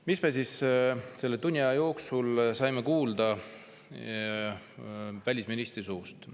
Mis me siis selle tunni aja jooksul välisministri suust kuulda saime?